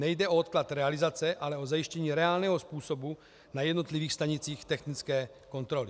Nejde o odklad realizace, ale o zajištění reálného způsobu na jednotlivých stanicích technické kontroly.